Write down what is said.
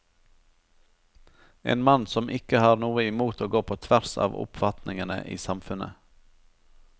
En mann som ikke har noe imot å gå på tvers av oppfatningene i samfunnet.